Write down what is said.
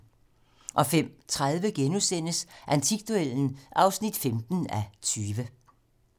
05:30: Antikduellen (15:20)*